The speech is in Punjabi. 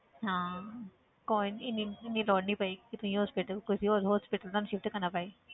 ਹਾਂ ਕੋਈ ਨੀ ਇੰਨੀ ਇੰਨੀ ਲੋੜ ਨੀ ਪਏਗੀ ਕਿ ਤੁਸੀਂ hospital ਕਿ ਵੀ ਹੋਰ hospital ਤੁਹਾਨੂੰ shift ਕਰਨਾ ਪਏ।